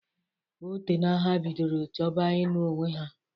Otena ha bidoro chọba inụ onwe ha.